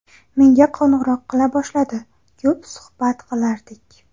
Menga qo‘ng‘iroq qila boshladi, ko‘p suhbat qilardik.